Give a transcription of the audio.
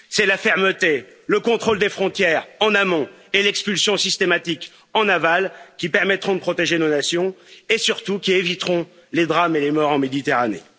C'est la fermeté et le contrôle des frontières, en amont, et l'expulsion systématique, en aval, qui permettront de protéger nos nations et surtout qui éviteront les drames et les morts en Méditerranée.